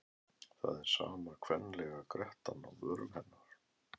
Það er sama kvenlega grettan á vörum hennar.